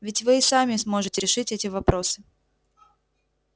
ведь вы и сами сможете решить эти вопросы